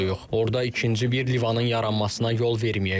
Orada ikinci bir livanın yaranmasına yol verməyəcəyik.